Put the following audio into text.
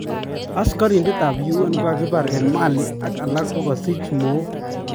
Askarindet ab Un kokakibar en Mali ak alak kokasich mook